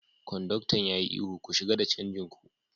Konduktan ya yi ihu, "Ku shiga da canjin ku!